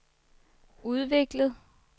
udviklet